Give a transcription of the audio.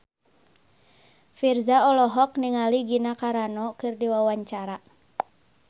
Virzha olohok ningali Gina Carano keur diwawancara